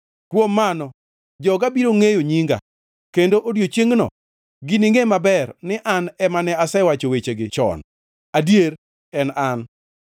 Kuom mano joga biro ngʼeyo nyinga; kendo odiechiengno giningʼe maber ni an, ema ne asewacho wechegi chon. Adier, en An.”